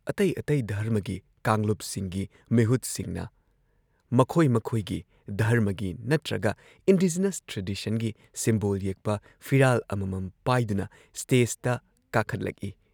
ꯑꯇꯩ ꯑꯇꯩ ꯙꯔꯃꯒꯤ ꯀꯥꯡꯂꯨꯞꯁꯤꯡꯒꯤ ꯃꯤꯍꯨꯠꯁꯤꯡꯅ ꯃꯈꯣꯏ ꯃꯈꯣꯏꯒꯤ ꯙꯔꯃꯒꯤ ꯅꯠꯇ꯭ꯔꯒ ꯏꯟꯗꯤꯖꯤꯅꯁ ꯇ꯭ꯔꯦꯗꯤꯁꯟꯒꯤ ꯁꯤꯝꯕꯣꯜ ꯌꯦꯛꯄ ꯐꯤꯔꯥꯜ ꯑꯃꯃꯝ ꯄꯥꯏꯗꯨꯅ ꯁ꯭ꯇꯦꯖꯇ ꯀꯥꯈꯠꯂꯛꯏ ꯫